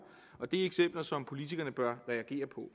og det er eksempler som politikerne bør reagere på